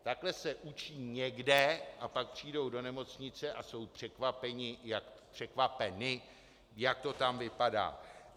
Takhle se učí někde a pak přijdou do nemocnice a jsou překvapeny, jak to tam vypadá.